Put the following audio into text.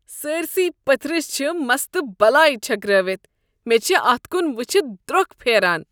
سٲرۍسٕے پٔتھرس چھ مستہٕ بلاے چھٔکرٲوتھ۔ مےٚ چھےٚ اتھ کن وٕچھتھ درٛۄکھ پھیران۔